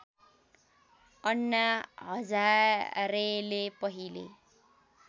अन्ना हजारेले पहिले